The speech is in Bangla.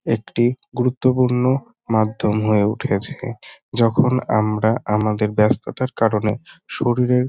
একটি গুরুত্বপূর্ণ মাধ্যম হয়ে উঠেছে। যখন আমরা আমাদের ব্যাস্ততার কারণে শরীরের --